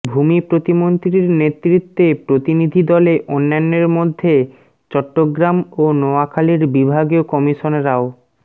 ভূমি প্রতিমন্ত্রীর নেতৃত্বে প্রতিনিধি দলে অন্যান্যের মধ্যে চট্টগ্রাম ও নোয়াখালীর বিভাগীয় কমিশনরাও